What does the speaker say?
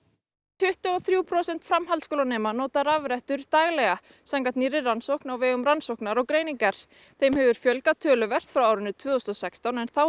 tuttugu og þrjú prósent framhaldsskólanema nota rafrettur daglega samkvæmt nýrri rannsókn á vegum rannsóknar og greiningar þeim hefur fjölgað töluvert frá árinu tvö þúsund og sextán en þá